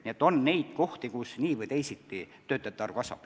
Nii et on valdkondi, kus nii või teisiti töötajate arv kasvab.